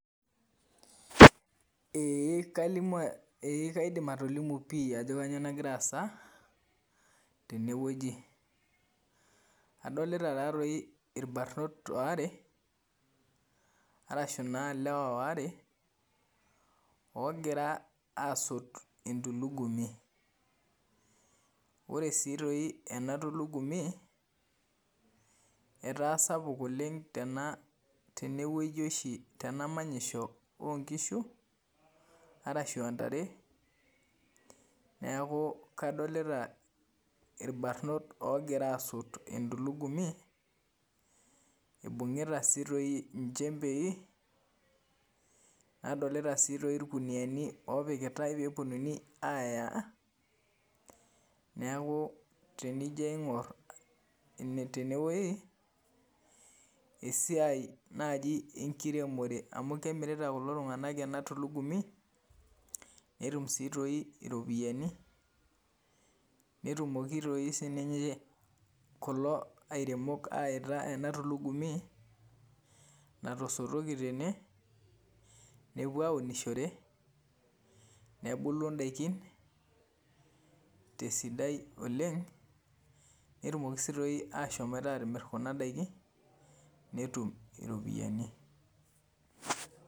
Ee kaidim atolimu pii ajo kainyioo nagira aasa tenewueji adolita taatoi irbarrnot aare arashu naa ilewa aare oogira aasot entulugumi ore naa sii toi ena tulugumi etaa sapuk oleng' tenewuaji oshi tena manyisho oonkishu arashu aa ntare, neeku kadolita irbarrnot oogira asot entulugumi ibung'ita sii toi nchembei nadolita sii tooi irkuniyiani oopikitai pee eponunui aaya neeku tenijo aing'orr tenewueji esiai naaji enkiremore amu kemirita kulo tung'anak ena tulugumi netum tooi sii iropiyiani netumoki tooi sii kulo airemok aayaita ena tulugumi natasotoki tene nepuo aaunishore nebulu ndaikin tesidai oleng' netumoki sii tooi aashomoita aatuun kuna daiki netum iropiyiani.